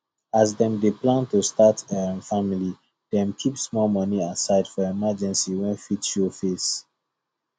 as dem dey plan to start um family dem keep small money aside for emergency wey fit show face